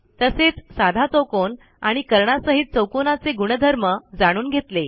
तसेच साधा चौकोन आणि कर्णांसहित चौकोनाचे गुणधर्म जाणून घेतले